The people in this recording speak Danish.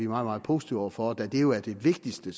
meget positive over for og da det jo er det vigtigste